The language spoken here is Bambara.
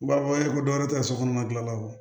U b'a fɔ ko dɔ wɛrɛ tɛ ka sokɔnɔ gilala wo